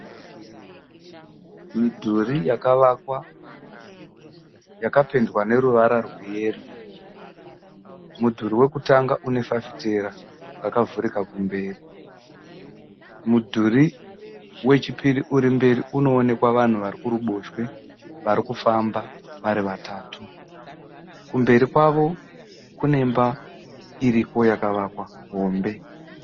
Midhuri yakavakwa yakapendwa neruvara rweyero. Mudhuri wekutanga une fafitera rakavhurika kumberi. Mudhuri wechipiri uri mberi unoonekwa vanhu vari kuruboshwe vari kufamba vari vatatu, kumberi kwavo kumberi kwavo kunemba hombe yakavakwa.